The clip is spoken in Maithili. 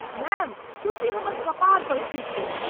मैम, खुशी हमर कपार पर थुकि देलक।